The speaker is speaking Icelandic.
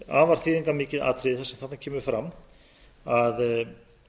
afar þýðingarmikið atriði sem þarna kemur fram að